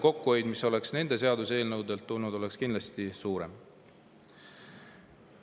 Kokkuhoid, mis oleks nende seaduseelnõudega tulnud, oleks kindlasti olnud suurem.